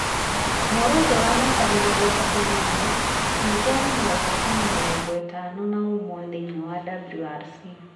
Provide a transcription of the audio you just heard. Mũrũ ũcio wa mĩaka mĩrongo ĩtatũ na ĩna ningĩ arĩ na ũhootani mĩrongo ĩtano na ũmwe thĩinĩ wa WRC ,